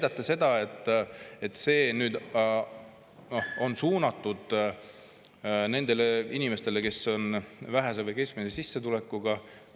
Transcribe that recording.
Ja teie väidate, et see on nüüd suunatud nendele inimestele, kes on väikese või keskmise sissetulekuga.